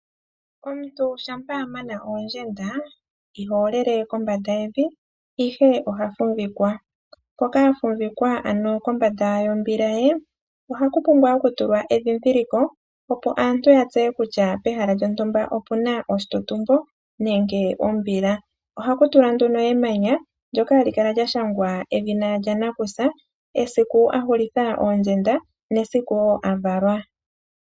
Omuntu shampa amana oondjenda ihoolele kombanda yevi ihe ohafumvikwa. Mpoka afumvikwa ano kombanda yombila ye ohaputulwa edhidhiliko opo aantu yatseye kutya pehala lyontumba opuna oshitutumbo nenge ombila. Ohakutulwa nduno emanya ndyoka hali kala lyashangwa edhina lyanakusa, esiku ahulitha oondjenda nemsiku wo avalwa.